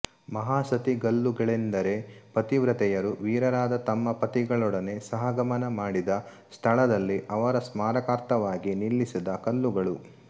ಮಹಾಸತಿಗಲ್ಲುಗಳೆಂದರೆ ಪತಿವ್ರತೆಯರು ವೀರರಾದ ತಮ್ಮ ಪತಿಗಳೊಡನೆ ಸಹಗಮನ ಮಾಡಿದ ಸ್ಥಳದಲ್ಲಿ ಅವರ ಸ್ಮಾರಕಾರ್ಥವಾಗಿ ನಿಲ್ಲಿಸಿದ ಕಲ್ಲುಗಳು